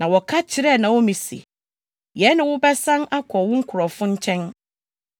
Na wɔka kyerɛɛ Naomi se, “Yɛne wo bɛsan akɔ wo nkurɔfo nkyɛn.”